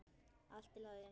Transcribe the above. Allt í lagi!